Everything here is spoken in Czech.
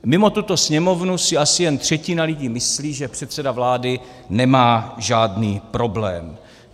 Mimo tuto Sněmovnu si asi jen třetina lidí myslí, že předseda vlády nemá žádný problém.